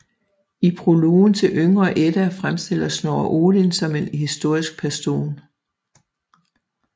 I prologen til Yngre Edda fremstiller Snorre Odin som en historisk person